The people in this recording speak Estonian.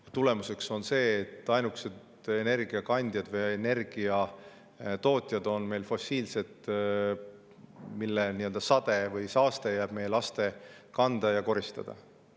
Ja tulemus on see, et ainukesed energiakandjad on meil fossiilsed, mille sade või saaste jääb meie laste kanda ja koristada.